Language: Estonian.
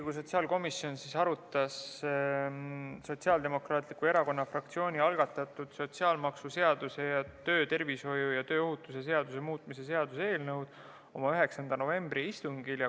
Riigikogu sotsiaalkomisjon arutas Sotsiaaldemokraatliku Erakonna fraktsiooni algatatud sotsiaalmaksuseaduse ja töötervishoiu ja tööohutuse seaduse muutmise seaduse eelnõu oma 9. novembri istungil.